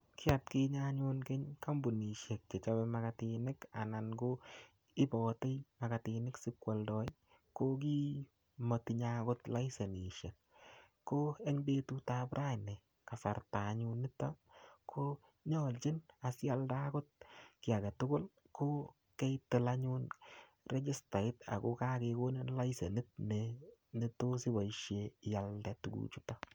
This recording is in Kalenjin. Ki atkinye anyun keny, kampunisiek chechobe makatinik, anan ko ibate makatinik sipkwaldoi, ko kiy matinye angot laisenisiek. Ko eng betutap raini, kasarta anyun niton, ko nyolchin asialda agot kiy age tugul, ko kaitil anyun rechistait ako kakekonin anyun laisenit ne-netos iboisie ialde tuguk chutok.